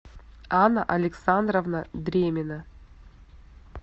анна александровна дремина